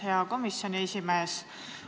Hea komisjoni esimees!